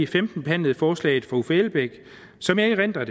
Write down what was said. femten behandlede forslaget fra uffe elbæk som jeg erindrer